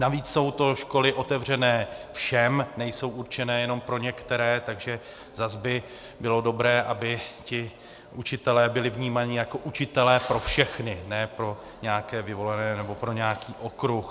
Navíc jsou to školy otevřené všem, nejsou určené jenom pro některé, takže zas by bylo dobré, aby ti učitelé byli vnímáni jako učitelé pro všechny, ne pro nějaké vyvolené nebo pro nějaký okruh.